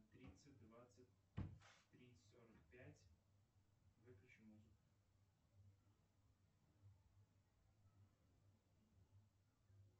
в тридцать двадцать три сорок пять выключи музыку